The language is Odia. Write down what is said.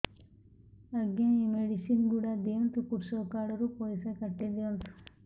ଆଜ୍ଞା ଏ ମେଡିସିନ ଗୁଡା ଦିଅନ୍ତୁ କୃଷକ କାର୍ଡ ରୁ ପଇସା କାଟିଦିଅନ୍ତୁ